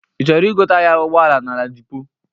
Ị chọrọ igote ahia Ụgbọala na Ladipo?